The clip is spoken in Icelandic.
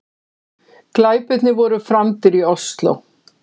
Glæpirnir voru framdir í Ósló